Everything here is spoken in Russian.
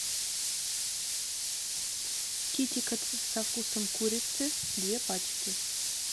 китикет со вкусом курицы две пачки